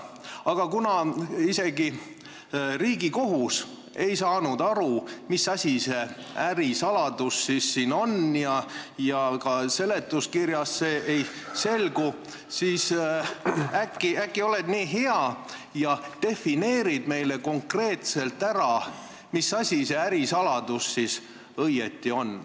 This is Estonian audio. Aga kuna isegi Riigikohus ei saanud aru, mis asi see ärisaladus siin on, ja ka seletuskirjast see ei selgu, siis äkki oled nii hea ja defineerid meile konkreetselt ära, mis asi see ärisaladus õieti on.